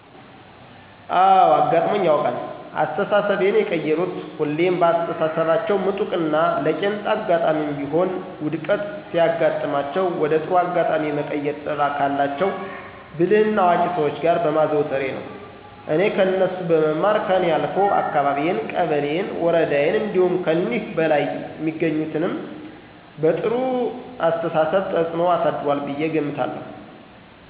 አወ አጋጥሞኝ ያውቃል። አስተሳሰቤን የቀየሩት ሁሌም በአስተሳሰባቸው ምጡቅና ለቄንጣ አጋጣሜም ቢሆን ውድቀት ሲያጋጥማቸው ወደ ጥሩ አጋጣሜ የመቀየር ጥበብ ካላቸው ብልህና አዋቂ ሰዎች ጋር በማዘውተሬ ነው። እኔ ከነሱ በመማር ከኔ አልፎ አካባቢየን፣ ቀበሌየን፣ ወረዳየን እንዲሁም ከኒህ በላይ የሚገኙትም በጥሩው አስተሳሰብ ተፅኖ አሳድሯል ብየ እገምታለሁ።